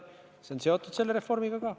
Ja see on seotud selle reformiga ka.